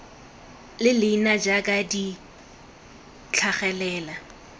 le leina jaaka di tlhagelela